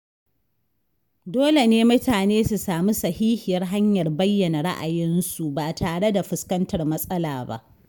Dole ne mutane su sami sahihiyar hanyar bayyana ra’ayinsu ba tare da fuskantar matsala ba.